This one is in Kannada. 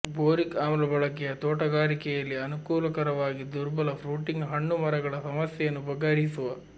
ಬೋರಿಕ್ ಆಮ್ಲ ಬಳಕೆ ತೋಟಗಾರಿಕೆಯಲ್ಲಿ ಅನುಕೂಲಕರವಾಗಿ ದುರ್ಬಲ ಫ್ರುಟಿಂಗ್ ಹಣ್ಣು ಮರಗಳ ಸಮಸ್ಯೆಯನ್ನು ಬಗೆಹರಿಸುವ